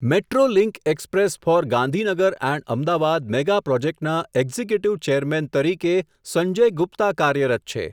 Metro link express for Gandhinagar and Ahmedabad mega પ્રોજેક્ટના executive chairman તરીકે, સંજય ગુપ્તા કાર્યરત છે.